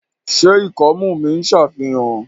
ṣe ikọmu mi n ṣàfihàn?